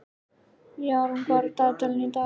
Jarún, hvað er í dagatalinu í dag?